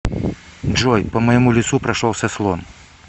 джой по моему лицу прошелся слон